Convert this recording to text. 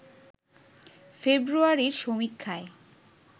ফেব্রুয়ারির সমীক্ষায়